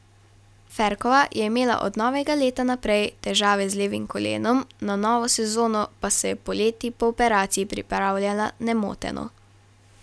Ferkova je imela od novega leta naprej težave z levim kolenom, na novo sezono pa se je poleti po operaciji pripravljala nemoteno.